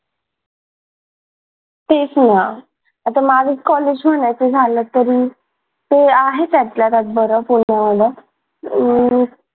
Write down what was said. तेच ना आता माझं कॉलेज म्हणायचं झालं तरी ते आहे त्यातल्या त्यात बरं अं